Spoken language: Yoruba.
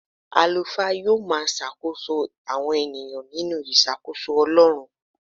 Àlùfáà yóò máa ṣàkóso àwọn ènìyàn nínú ìṣàkóso Ọlọ́run.